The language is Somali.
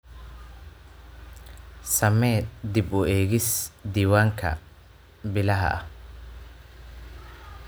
Samee dib u eegis diiwaanka bilaha ah.